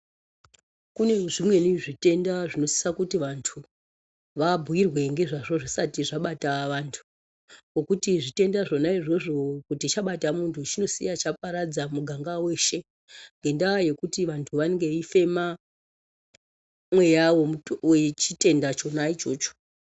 Kune zvimweni zvitenda zvinosisa kuti vantu vabhuyirwe ngezvazvo zvisati zvabata vantu, ngokuti zvitenda zvona izvozvo kuti chabata muntu chinosiya chaparadza muganga weshe, ngendaa yekuti vantu vanenge veifema mweya womutumbi wechitenda chona ichocho.